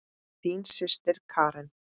Þín systir Karen.